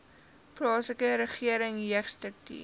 plaaslike regering jeugstrukture